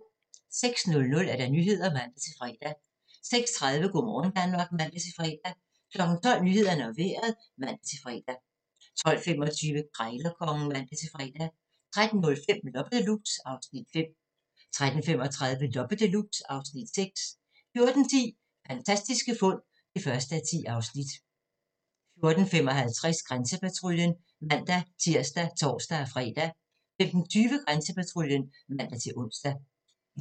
06:00: Nyhederne (man-fre) 06:30: Go' morgen Danmark (man-fre) 12:00: Nyhederne og Vejret (man-fre) 12:25: Krejlerkongen (man-fre) 13:05: Loppe Deluxe (Afs. 5) 13:35: Loppe Deluxe (Afs. 6) 14:10: Fantastiske fund (1:10) 14:55: Grænsepatruljen (man-tir og tor-fre) 15:20: Grænsepatruljen (man-ons)